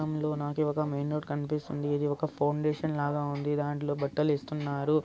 ఈ చిత్రంలో నాకి ఒక మెయిన్ రోడ్ కనిపిస్తుంది. ఇది ఒక ఫౌండేషన్ లాగ ఉంది. దాంట్లో బట్టలు ఇస్తున్నారు.